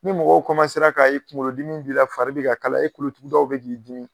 Ni mɔgɔw k'a ye kungolodimi b'i la, fari bɛ ka kalaya, e kolotugudaw bɛ k'i dimi.